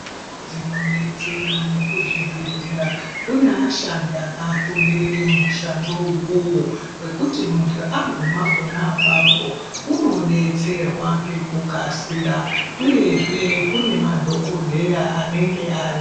Kudzinodetsera nekuzvibhedhlera kuneashandi akafundire mushando uwowo wekuti muntu aguma ponaapapo unodetserwa ngekukasira uyezve kune madhokodhera anenge aripo.